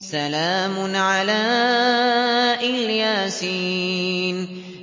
سَلَامٌ عَلَىٰ إِلْ يَاسِينَ